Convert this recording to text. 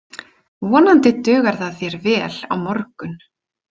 Vonandi dugar það þér vel á morgun.